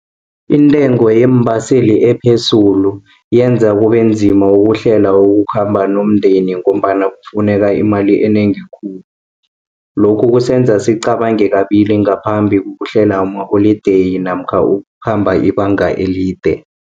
Intengo yeembaseli ephezulu yenza kubenzima ukuhlela ukukhamba nomndeni, ngombana kufuneka imali enengi khulu. Lokhu kusenza esicabange kabili ngaphambi kokuhlela amaholideyi, namkha ukukhamba ibanga elide.